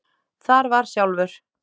Þar var sjálfur